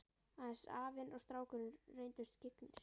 Aðeins afinn og strákurinn reyndust skyggnir.